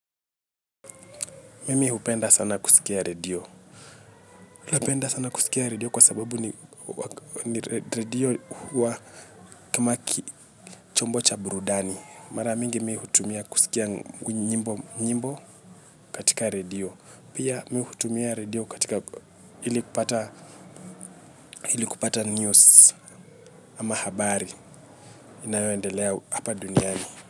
Mimi hupenda sana kusikia redio. Napenda sana kusikia redio kwa sababu ni radio huwa kamaki chombocha burudani. Maramingi mimi hutumia kusikia nyimbo katika redio. Pia mimi hutumia redio katika ili kupata news ama habari inayoendelea hapa duniani.